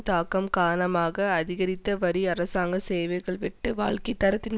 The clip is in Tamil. தாக்கம் காரணமாகஅதிகரித்த வரி அரசாங்க சேவைகள்வெட்டு வாழ்க்கை தரத்தின்